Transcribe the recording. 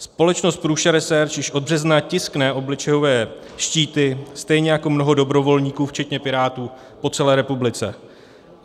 Společnost Prusa Research již od března tiskne obličejové štíty stejně jako mnoho dobrovolníků včetně pirátů po celé republice.